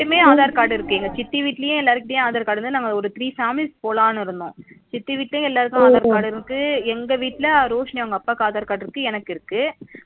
எல்லாருகிட்டயுமே aadhar card இருக்கு எங்க சித்தி வீட்லயும் எல்லாரு கிட்டயும் aadhar card நம்ம ஒரு three sample போடுலனு இருந்தோம் சித்தி வீட்லயும் எல்லாருக்கும் aadhar card இருக்கு எங்க வீட்ல ரோஷினி அவங்க அப்பாக்கு aadhar card இருக்கு எனக்கு இருக்கு